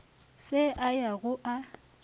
se a ya go a